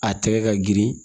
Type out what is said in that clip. A tɛgɛ ka girin